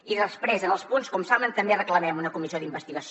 i després en els punts com saben també reclamem una comissió d’investigació